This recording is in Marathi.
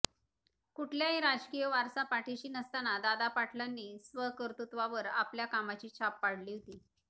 कुठलाही राजकीय वारसा पाठीशी नसताना दादा पाटलांनी स्वकत्वृत्वावर आपल्या कामाची छाप पाडली होती